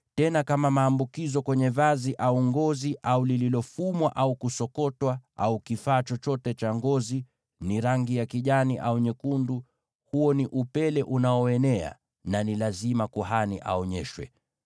tena kama maambukizo kwenye vazi, au ngozi, au lililofumwa au kusokotwa, au kifaa chochote cha ngozi, ni rangi ya kijani au nyekundu, huo ni upele unaoenea na ni lazima kuhani aonyeshwe.